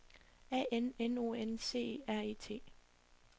A N N O N C E R E T